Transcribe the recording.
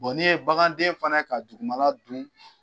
n'i ye baganden fana ye ka dugumala dun